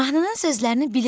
Mahnının sözlərini bilirəm.